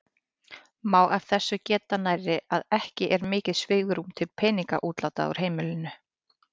Má af þessu geta nærri að ekki er mikið svigrúm til peningaútláta úr heimilinu.